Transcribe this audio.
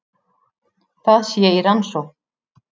Það sé í rannsókn